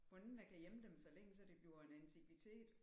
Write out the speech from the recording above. Mon ikke man kan gemme dem så længe så det bliver en antikvitet